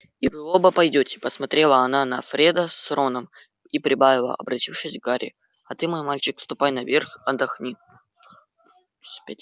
и вы оба пойдёте посмотрела она на фреда с роном и прибавила обратившись к гарри а ты мой мальчик ступай наверх отдохни